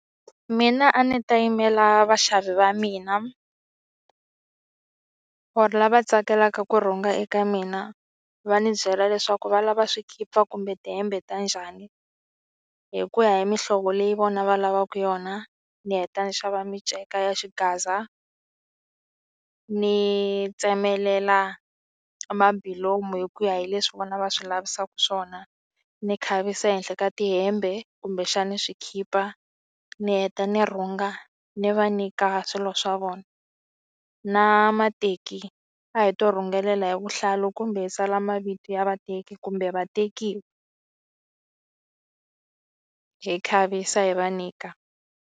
Mina a ni ta yimela vaxavi va mina or lava tsakelaka ku rhunga eka mina va ni byela leswaku valava swikipa kumbe tihembe ta njhani hi ku ya hi mihlovo leyi vona va lavaka yona ni heta ni xava minceka ya xigaza ni tsemelela mabulomu hi ku ya hi leswi vona va swi lavisaka swona ni khavisa ehenhla ka tihembe kumbexani swikhipa ni heta ni rhunga ni va nyika swilo swa vona na mateki a hi to rhungelela hi vuhlalu kumbe hi tsala mavito ya vateki kumbe vatekiwa hi khavisa hi va nyika.